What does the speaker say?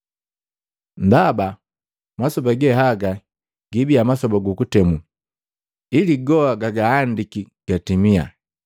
Ndaba masoba ge haga giibia masoba gukutemu, ili goa gaahandiki gatimia.